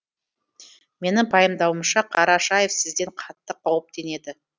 менің пайымдауымша қарашаев сізден қатты қауіптенеді